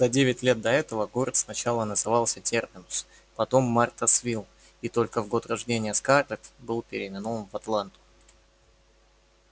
за девять лет до этого город сначала назывался терминус потом мартасвилл и только в год рождения скарлетт был переименован в атланту